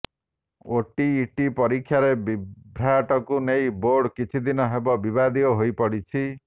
OTET ପରୀକ୍ଷାରେ ବିଭ୍ରାଟକୁ ନେଇ ବୋର୍ଡ କିଛିଦିନ ହେବ ବିବାଦୀୟ ହୋଇପଡ଼ିଛି